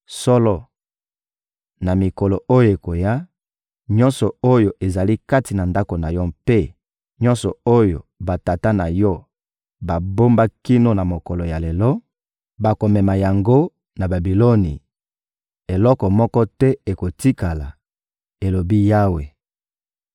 «Solo, na mikolo oyo ekoya, nyonso oyo ezali kati na ndako na yo mpe nyonso oyo batata na yo babomba kino na mokolo ya lelo, bakomema yango na Babiloni; eloko moko te ekotikala,» elobi Yawe.